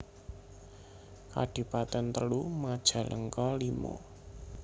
Kadipaten telu Majalengka limo